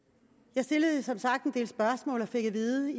jeg stillede som sagt en del spørgsmål og fik at vide